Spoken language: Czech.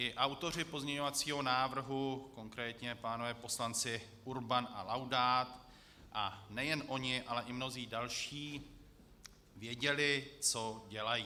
I autoři pozměňovacího návrhu, konkrétně pánové poslanci Urban a Laudát, a nejen oni, ale i mnozí další věděli, co dělají.